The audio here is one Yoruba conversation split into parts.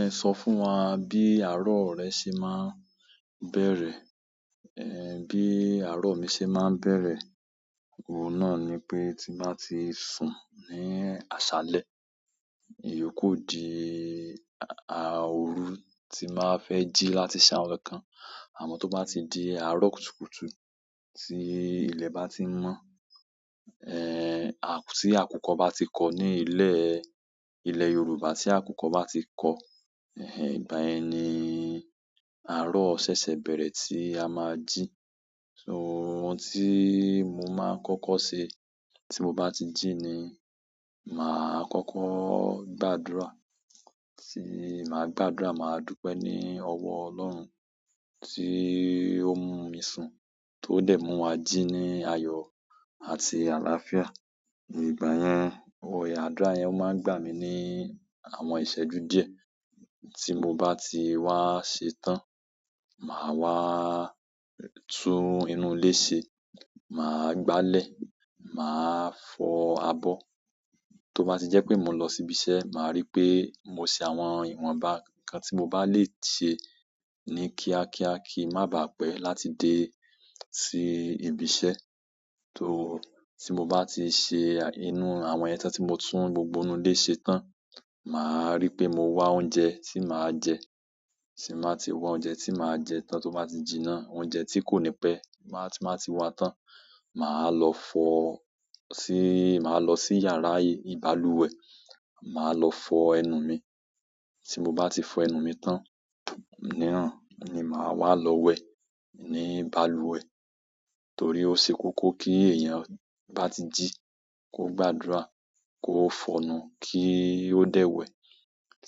Ẹ sọ fún wa bí àárọ̀ rẹ ṣe máa ń bẹ̀rẹ̀. Ẹ̀, bí àárọ̀ mi ṣe máa ń bẹ̀rẹ̀, òun náà ni pé tí máa ti sun ní àṣálẹ́. Èyí kò di a-a òru tí màá fẹ́ jí láti ṣe àwọn kan. Àmọ́ tó bá di àárọ̀ kùtùkùtù tí ilẹ̀ bá ti mọ́, ẹ̀, tí àkùkọ̀ bá ti kọ́ ní ilẹ̀, ilẹ̀ Yorùbá tí àkùkọ̀ bá ti kọ́, ẹh ẹh, ìgbà yẹn ni àárọ̀ ṣẹ́ṣẹ́ bẹ̀rẹ̀ tí a máa jí. So òun tí mo máa ń kọ́kọ́ ṣe tí mo bá ti jí ni, màá kọ́kọ́ gbàdúrà. Tí màá gbàdúrà, màá dúpẹ́ ní ọwọ́ Ọlọ́run tí ó mú mi sun, tó dẹ̀ mú wa jí ní ayọ̀ àti àlàáfíà. Ẹ̀yin ìgbà yẹn àwọn àdúrà yẹn maa n gbà mi ni àwọn iseju díẹ̀ tí mo bati wa ṣetán, maa waa tun inú ilé ṣé, maa gbale, maa fo abo. Tó bá ti jẹ́ pé mo lọ sí ibi iṣẹ́, màá rí pé mo ṣe àwọn ìwọnba kan tí mo bá lè ṣe ní kíákíá kí má bà á pẹ́ láti dé sí ibi iṣẹ́. Tó, tí mo bá ti ṣe inú àwọn ìyẹn tan tí mo tún gbogbo inú ilé ṣe tán, màá rí pé mo wá oúnjẹ tí màá jẹ. Tí màá ti wá oúnjẹ tí màá jẹ tán tó bá ti jiná, oúnjẹ tí kò ní pẹ́ tí màá ti wá tán, màá lọ fọ sí, màá lọ sí yàrá ìbalùwẹ̀, màá lọ fọ ẹnu mi. Tí mo bá ti fọ ẹnu mi tán, níran ni màá wá lọ wẹ̀ ní ìbalùwẹ̀. Torí ó ṣe kókó kí èèyàn bá ti jí kó gbàdúrà, kó fọnu kí ó dẹ̀ wẹ̀.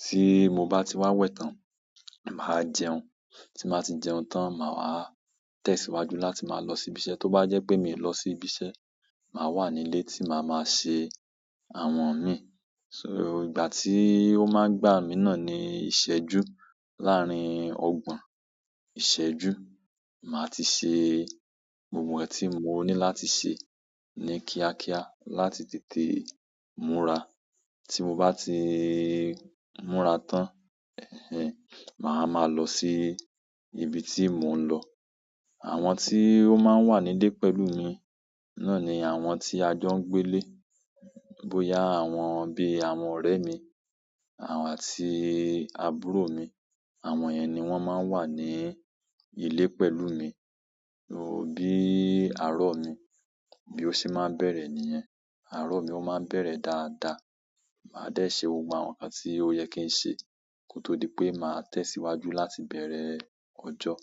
Tí mo bá ti wá wẹ̀ tán, màá jẹun. Tí màá ti jẹun tán, màá wá tẹ̀síwájú láti máa lọ sí ibi iṣẹ́. Tó bá jẹ́ pé mi ò lọ sí ibi iṣẹ́, màá wà nílé tí màá máa ṣe àwọn mi. So ìgbà tí ó máa ń gbà mí náà ni ìṣẹ́jú láàárín ọgbọ̀n ìṣẹ́jú. Màá ti ṣe gbogbo ẹ̀ tí mo ní láti ṣe ní kíákíá láti tètè múra. Tí mo bá ti múra tán, ẹh ẹh, màá máa lọ sí ibi tí mò ń lọ. Àwọn tí ó máa ń wà nílé pẹ̀lú mi náà ni àwọn tí a jọ ń gbé lé. Bóyá àwọn bí i àwọn ọ̀rẹ́ mi àti àbúrò mi, àwọn yẹn ni wọ́n máa wá ní ilé pẹ̀lú mi. Bí àárọ̀ mi, bí ó ṣe máa ń bẹ̀rẹ̀ nìyẹn. Àárọ̀ mi ó máa ń bẹ̀rẹ̀ dáadáa. Màá dé ṣe gbogbo àwọn nǹkan tí ó yẹ kí n ṣe kó tó di pé màá tẹ̀síwájú láti bẹ̀rẹ̀ ọjọ́.